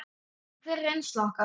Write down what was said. En hver er reynsla okkar?